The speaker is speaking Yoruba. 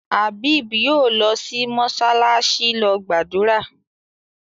Abeeb yóò lọ sí “mọsálásí” lọ gbàdúrà.